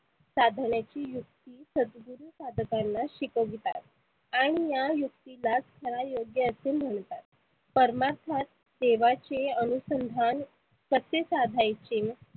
साधण्याची युक्ती सदगुरु साधकांना शिकवितात. आणि या युक्तीलाच विधा असे म्हणतात. परमात्मा देवाचे अनुसंधान कसे साधायचे?